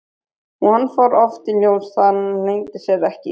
Og hann fór oft í ljós, það leyndi sér ekki.